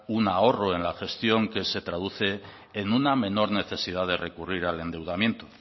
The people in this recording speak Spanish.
un ahorro en la gestión que se traduce en una menor necesidad de recurrir al endeudamiento